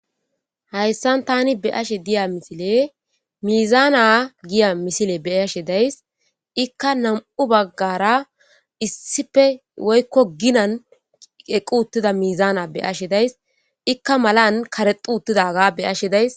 Hayssa tani be'ashe diya misiley miizana giya misile be'ashe de'ayssi. Ikka nami'u baggara issippe woykko ginan eqqi uttida miizana be'ashe de'ays. Ikka malan karexxi uttidaga be'ashe de'ayssi.